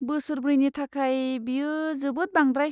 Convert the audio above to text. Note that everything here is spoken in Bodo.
बोसोर ब्रैनि थाखाय, बेयो जोबोद बांद्राय।